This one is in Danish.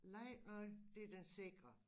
Lej noget det den sikre